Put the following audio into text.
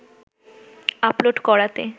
upload করাতে